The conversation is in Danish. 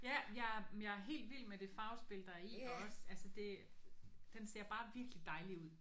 Ja men jeg men jeg er helt vild med det farvespil der er i der også. Altså det den ser bare virkelig dejlig ud